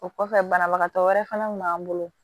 O kɔfɛ banabagatɔ wɛrɛ fɛnɛ kun b'an bolo